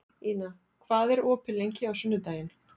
Ina, hvað er opið lengi á sunnudaginn?